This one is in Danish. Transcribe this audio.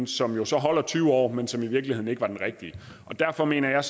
som jo så holder tyve år men som i virkeligheden ikke var den rigtige derfor mener jeg